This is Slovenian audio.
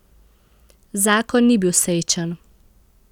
Zakon ni bil srečen.